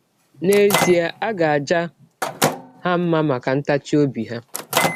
N’ezie a ga - aja ha mma maka ntachi ọbi ha.